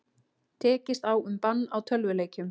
Tekist á um bann á tölvuleikjum